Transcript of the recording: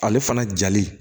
Ale fana jali